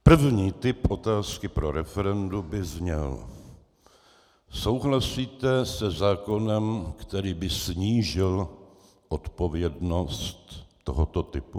První typ otázky pro referendum by zněl: Souhlasíte se zákonem, který by snížil odpovědnost tohoto typu?